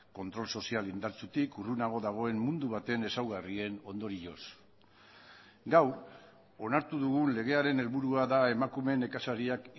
kontrol sozial indartsutik urrunago dagoen mundu baten ezaugarrien ondorioz gaur onartu dugun legearen helburua da emakume nekazariak